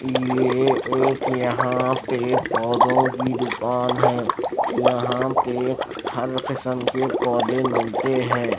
ये एक यहां पे पौधों की दुकान है। यहां पे हर कसम के पौधे मिलते हैं।